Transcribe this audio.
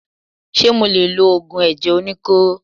Ṣé mo lè lo Ògùn ẹ̀jẹ̀ oníkóró.?